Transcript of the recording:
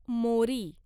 मोरी